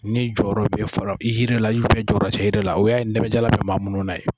Ni jɔyɔrɔ be fara yiri la ubiyɛn jɔyɔrɔ te yiri la o y'a ye pɛnbɛjala be maa munnu na ye